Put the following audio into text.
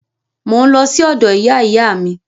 Mò ń lọ sí ọ̀dọ̀ ìyá ìyá mi